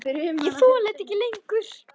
Ég þoli þetta ekki lengur.